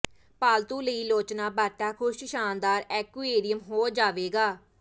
ਪਾਲਤੂ ਲਈ ਲੋਚਣਾ ਬਾਟਾ ਖੁਸ਼ ਸ਼ਾਨਦਾਰ ਐਕੁਏਰੀਅਮ ਹੋ ਜਾਵੇਗਾ